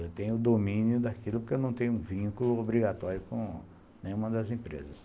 Eu tenho domínio daquilo porque eu não tenho vínculo obrigatório com nenhuma das empresas.